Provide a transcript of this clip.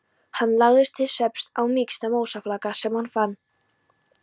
Hann lagðist til svefns á mýksta mosafláka sem hann fann.